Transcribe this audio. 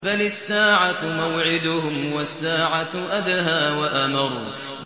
بَلِ السَّاعَةُ مَوْعِدُهُمْ وَالسَّاعَةُ أَدْهَىٰ وَأَمَرُّ